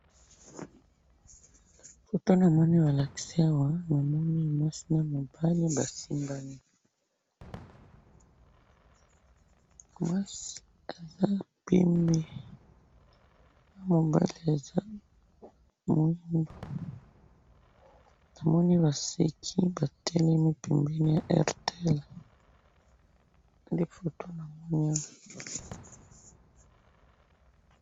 foto namoni balakisi awa namoni mwasi na mobali basimbani mwasi aza pembe na mobali aza mwindu namoni baseki batelemi na airtel nde foto namoni awa